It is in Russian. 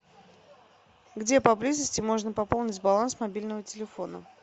где по близости можно пополнить баланс мобильного телефона